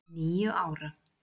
Níu ára.